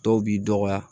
Dɔw b'i dɔgɔya